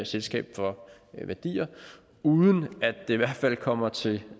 selskabet for værdier uden at det i hvert fald kommer til